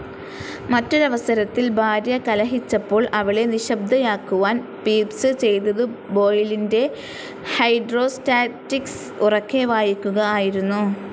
മറ്റൊരവസരത്തിൽ ഭാര്യ കലഹിച്ചപ്പോൾ അവളെ നിശ്ശബ്ദയാക്കുവാൻ പീപ്സ്‌ ചെയ്തതു ബോയിലിൻ്റെ ഹൈഡ്രോസ്റ്റാറ്റിക്‌സ് ഉറക്കെ വായിക്കുക ആയിരുന്നു.